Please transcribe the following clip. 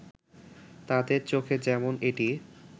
তাদের চোখে যেমন এটি